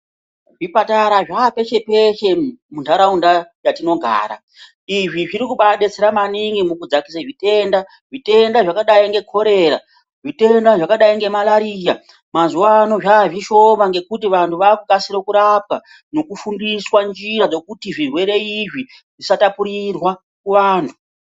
Zvipatara zvaapeshe peshe muntaraunda yatinogara izvi zviri kubaa detsera maningi kudzakise zvitenda zvitenda zvakadai ngekorera zvitenda zvakadai ngemalariya mqzuwa ano zvaazvishoma ngekuti vantu vakukadire kurapwa nekufundiswa njira dzekuti zvirwere izvi zvisatapurirwa kuantu.